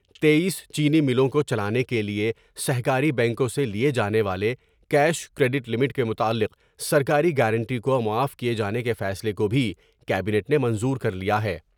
تٔییس چینی ملوں کے چلانے کے لئے سہ کاری بینکوں سے لئے جانے والے کیش کریڈٹ لمٹ کے متعلق سرکاری گارنٹی کو معاف کئے جانے کے فیصلے کو بھی کیبینٹ نے منظور کر لیا ہے ۔